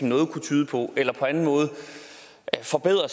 noget kunne tyde på eller på anden måde forbedrer